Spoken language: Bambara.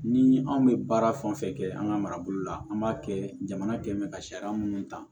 Ni anw bɛ baara fɛn fɛn kɛ an ka marabolo la an b'a kɛ jamana kɛ bɛ ka sariya minnu ta